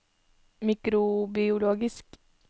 mikrobiologisk